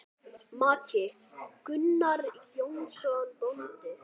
Maki: Gunnar Jónsson bóndi.